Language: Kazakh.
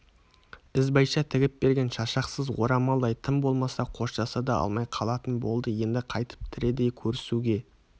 ізбайша тігіп берген шашақсыз орамалдай тым болмаса қоштаса да алмай қалатын болды енді қайтып тірідей көрісуге